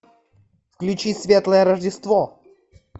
включи светлое рождество